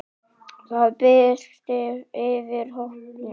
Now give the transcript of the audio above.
Það birti yfir hópnum.